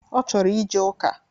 Ọ chọrọ ije ụka